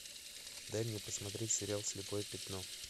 дай мне посмотреть сериал слепое пятно